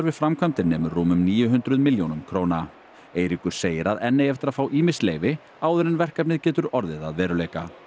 framkvæmdir nemur rúmum níu hundruð milljónum króna Eiríkur segir að enn eigi eftir að fá ýmis leyfi áður en verkefnið getur orðið að veruleika